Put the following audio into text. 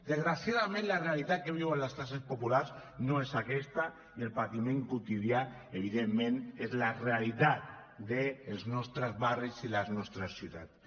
desgraciadament la realitat que viuen les classes populars no és aquesta i el patiment quotidià evidentment és la realitat dels nostres barris i les nostres ciutats